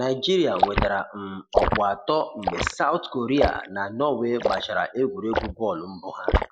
Naijiria nwetara um ọkpụ atọ mgbe Saụt Koria na Norway gbachara egwuregwu bọọlụ mbụ ha